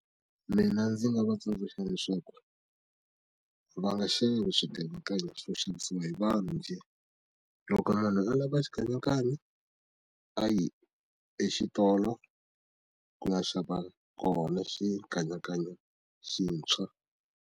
Mina ndzi nga va tsundzuxa leswaku va nga xavi xikanyakanya xo xavisiwa hi vanhu njhe loko munhu a lava xikanyakanya a yi exitolo ku ya xava kona xikanyakanya xintshwa.